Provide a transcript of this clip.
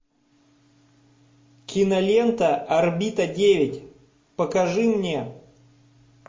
кинолента орбита девять покажи мне